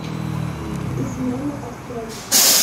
измена открой